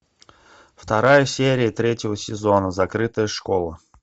вторая серия третьего сезона закрытая школа